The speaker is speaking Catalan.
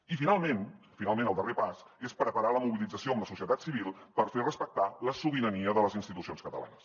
i finalment finalment el darrer pas és preparar la mobilització amb la societat civil per fer respectar la sobirania de les institucions catalanes